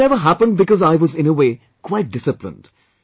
It never happened because I was in a way quite disciplined